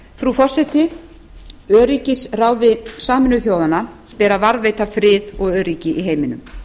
frú forseti öryggisráði sameinuðu þjóðanna ber að varðveita frið og öryggi í heiminum